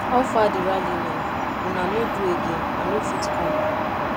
how far the rally now una no do again i no fit come